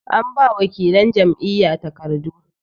an ba wakilan Jam'iyya takardu